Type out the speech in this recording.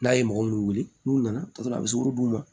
N'a ye mɔgɔ minnu wele n'u nana sɔrɔ a bɛ sugɔro d'u ma